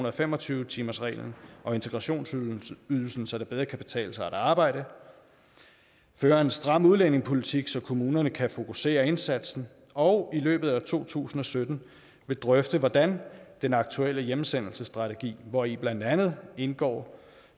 og fem og tyve timersreglen og integrationsydelsen så det bedre kan betale sig at arbejde fører en stram udlændingepolitik så kommunerne kan fokusere indsatsen og i løbet af to tusind og sytten vil drøfte hvordan den aktuelle hjemsendelsesstrategi hvori blandt andet indgår